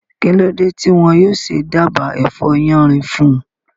Kí ló dé tí wọn yóò ṣe dába ẹ̀fọ́ yánrin fún un?